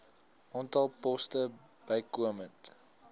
aantal poste bykomend